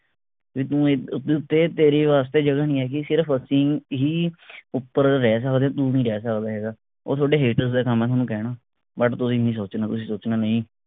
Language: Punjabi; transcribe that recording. ਤੇਰੇ ਵਾਸਤੇ ਜਗ੍ਹਾ ਨਹੀਂ ਹੈਗੀ ਸਿਰਫ ਅਸੀਂ ਹੀ ਉਪਰ ਰਹਿ ਸਕਦੇ ਹਾਂ ਤੂੰ ਨਹੀਂ ਰਹਿ ਸਕਦਾ ਹੈਗਾ। ਉਹ ਥੋਡੇ hater ਦਾ ਕੰਮ ਹੈ ਥੋਨੂੰ ਕਹਿਣਾ but ਤੁਸੀਂ ਨਹੀਂ ਸੋਚਣਾ ਤੁਸੀਂ ਸੋਚਣਾ ਨਹੀਂ।